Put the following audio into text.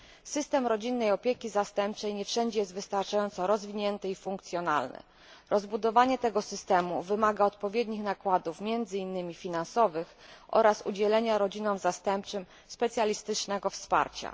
System rodzinnej opieki zastępczej nie wszędzie jest wystarczająco rozwinięty i funkcjonalny. Rozbudowanie tego systemu wymaga odpowiednich nakładów, między innymi finansowych, oraz udzielenia rodzinom zastępczym specjalistycznego wsparcia.